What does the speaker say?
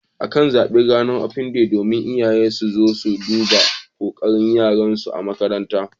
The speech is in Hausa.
Akan zaɓi Ranar Open Day domin iyaye su zo su duba kokarin yaran su a makarantu.